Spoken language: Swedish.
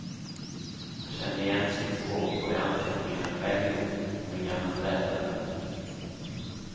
Han kände igen sitt skåp på de anteckningar han själv gjort på den gamla trädörren.